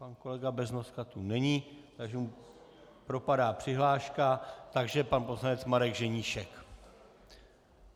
Pan kolega Beznoska tu není, takže mu propadá přihláška, takže pan poslanec Marek Ženíšek.